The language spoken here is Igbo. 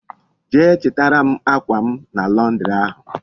Jee chitara m akwa m na Londiri ahu